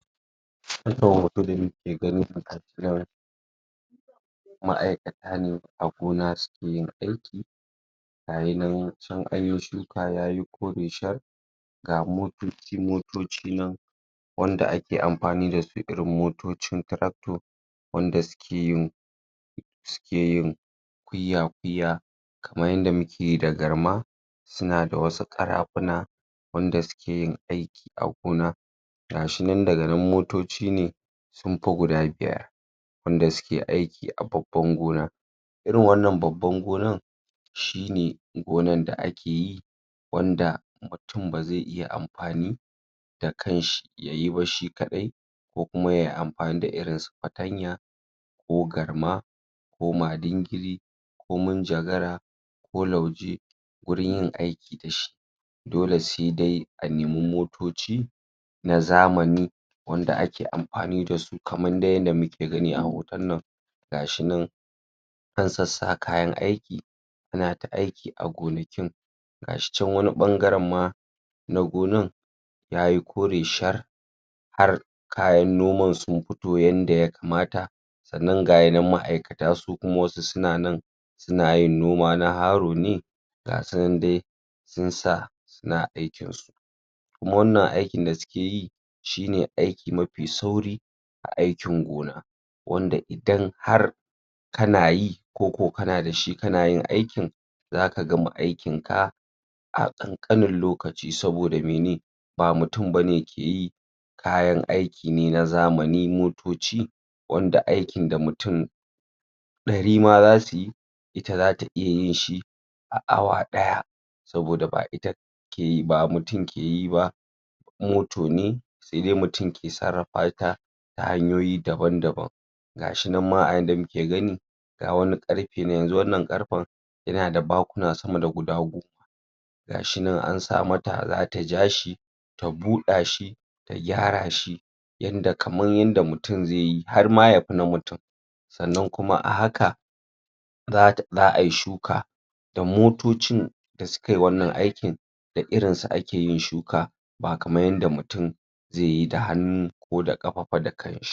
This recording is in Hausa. Wannan hoto da nake gani a ma'aikata ne a gona suke yin aiki gayi nan can an yi shuka yayi kore shar ga motoci-motoci nan wanda ake amfani da su irin motocin tractor wanda suke yin suke yin kuiya-kuiya kaman yanda muke yi da garma suna da wasu ƙarafuna wanda suke yin aiki a gona ga shi nan daga nan motoci ne sun fi guda biyar wanda suke aiki a babban gona irin wannan babban gonan shi ne gonan da ake yi wanda mutun ba zai iya amfani da kan shi yayi ba shi kaɗai ko kuma yayi amfani da irin su fatanya ko garma ko madingiri ko minjagara ko lauje gurin yin aiki da shi dole sai dai a nema motoci na zamani wanda ake amfani da su kaman dai yanda muke gani a hoton nan ga shi nan an sassa kayan aiki suna ta aiki a gonakin ga shi can wani ɓangaren ma na gonan yayi kore shar har kayan noman sun fito yanda yakamata sannan gayi nan ma'aikata su kuma wasu suna nan suna yin noma na haro ne gasu nan dai sun sa suna aikin su kuma wannan aikin da suke yi shi ne aiki mafi sauri a aikin gona wanda idan har kana yi ko ko kana da shi kana yin aikin zaka gama aikin ka a ƙanƙanin lokaci saboda mene ba mutun bane ke yi kayan aiki ne na zamani motoci wanda aikin da mutun ɗari ma zasu yi ita zata iya yin shi a awa ɗaya saboda ba ita ke yi ba mutun ke yi ba moto ne sai dai mutun ke sarrafa ta ta hanyoyi daban-daban ga shi nan ma a yadda muke gani ga wani ƙarfe nan, yanzu wannan ƙarfen yana da bakuna sama da goma ga shi nan an sa mata zata ja shi ta buɗa shi ta gyara shi yanda kaman yanda mutun zai yi, har ma yafi na mutun sannan kuma a haka za'ai shuka da motocin da sukai wannan aikin da irin su ake yin shuka ba kaman yanda mutun zai yi da hannu ko da ƙafa fa da kan shi.